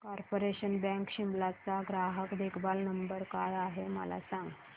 corporation bank Shimla चा ग्राहक देखभाल नंबर काय आहे मला सांग